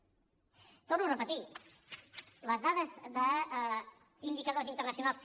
ho torno a repetir les dades d’indicadors internacionals